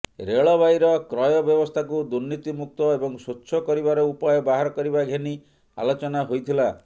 ରେଳବାଇର କ୍ରୟ ବ୍ୟବସ୍ଥାକୁ ଦୁର୍ନୀତିମୁକ୍ତ ଏବଂ ସ୍ୱଚ୍ଛ କରିବାର ଉପାୟ ବାହାର କରିବା ଘେନି ଆଲୋଚନା ହୋଇଥିଲା